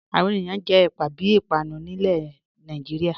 Awọn ènìyàn jẹ ẹ̀pà bí ìpànù ni ilẹ̀ ní Nàìjíríà